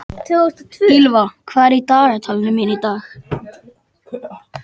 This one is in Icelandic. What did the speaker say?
Ýlfa, hvað er í dagatalinu mínu í dag?